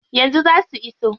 Yanzu zaa su iso.